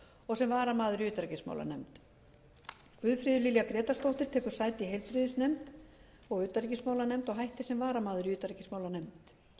og sem varamaður í utanríkismálanefnd guðfríður lilja grétarsdóttir tekur sæti í heilbrigðisnefnd og utanríkismálanefnd og hættir sem varamaður í utanríkismálanefnd